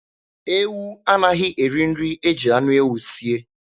Ewu anaghị eri nri e ji anụ ewu sie.